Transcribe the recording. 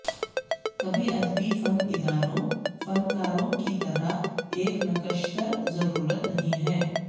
کبھی ادبی فن اداروں فنکاروں کی طرح ایک نکشتر ضرورت نہیں ہے